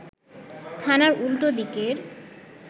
থানার উল্টো দিকের